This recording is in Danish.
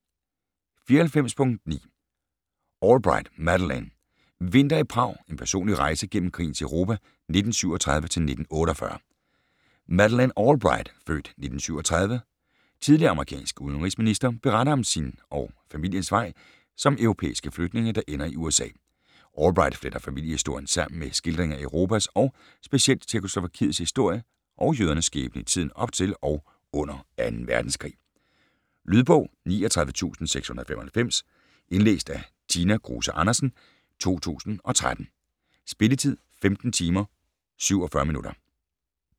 94.9 Albright, Madeleine: Vinter i Prag: en personlig rejse gennem krigens Europa 1937-1948 Madeleine Albright (f. 1937), tidligere amerikansk udenrigsminister, beretter om sin og familiens vej som europæiske flygtninge, der ender i USA. Albright fletter familiehistorien sammen med skildringen af Europas og specielt Tjekkoslovakiets historie og jødernes skæbne i tiden op til og under 2. verdenskrig. Lydbog 39695 Indlæst af Tina Kruse Andersen, 2013. Spilletid: 15 timer, 47 minutter.